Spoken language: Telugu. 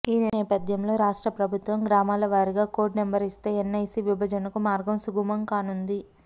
ఈ నేపథ్యంలో రాష్ట్ర ప్రభుత్వం గ్రామాలవారీగా కోడ్ నెంబర్ ఇస్తే ఎన్ఐసి విభజనకు మార్గం సుగమం కానుంది